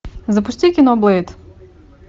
запусти кино блэйд